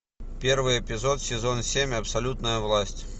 первый эпизод сезон семь абсолютная власть